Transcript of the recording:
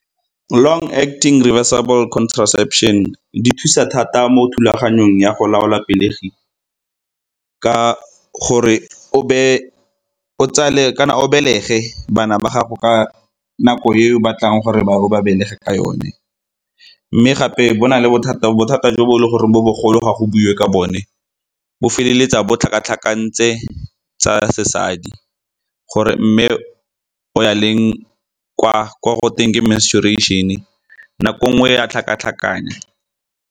Long-acting reversible contraception di thusa thata mo thulaganyong ya go laola pelegi ka gore o be o tsale kana o belege bana ba gago ka nako e o batlang gore o ba belege ka yone. Mme gape bo na le bothata jo bo e leng gore bo bogolo ga go buiwe ke bone, bo feleletsa bo tlhaka-tlhakantse tsa sesadi gore mme o ya leng kwa ko teng ke menstruation-e nako nngwe e a tlhaka-tlhakanya.